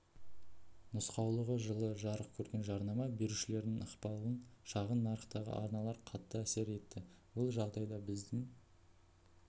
нұсқаулығы жылы жарық көрген жарнама берушілердің ықпалы шағын нарықтағы арналарға қатты әсер етті бұл жағдай біздің